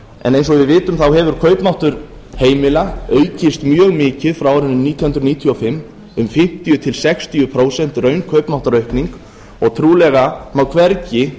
en eins og við vitum hefur kaupmáttur heimila aukist mjög mikið frá árinu nítján hundruð níutíu og fimm um fimmtíu til sextíu prósent raunkaupmáttaraukning og trúlega má hvergi